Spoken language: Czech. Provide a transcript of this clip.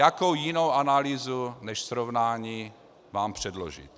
Jakou jinou analýzu než srovnání mám předložit?